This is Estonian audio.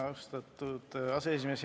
Austatud aseesimees!